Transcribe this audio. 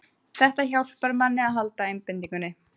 Þetta hjálpar manni að halda einbeitingunni